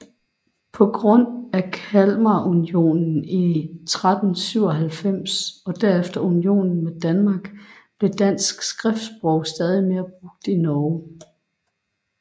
På grund af Kalmarunionen fra 1397 og derefter unionen med Danmark blev dansk skriftsprog stadig mere brugt i Norge